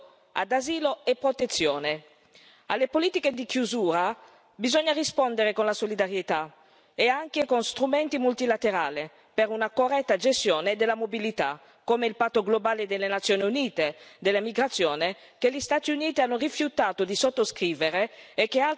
Alle politiche di chiusura bisogna rispondere con la solidarietà e anche con strumenti multilaterali per una corretta gestione della mobilità, come il Patto globale delle Nazioni Unite sulla migrazione, che gli Stati Uniti hanno rifiutato di sottoscrivere e che altri Stati europei stanno mettendo in discussione.